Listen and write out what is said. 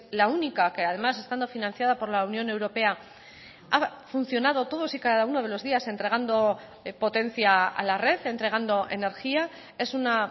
la única que además estando financiada por la unión europea ha funcionado todos y cada uno de los días entregando potencia a la red entregando energía es una